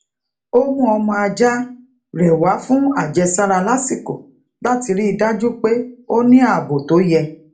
ó mú ọmọ ajá rè wá fún àjẹsára lasiko láti rí i dájú pé ó ní ààbò tó yẹ